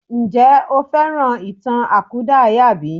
Ǹjẹ́ o fẹ́ràn ìtàn àkúdàáyà bí?